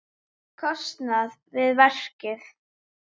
kostnað við verkið.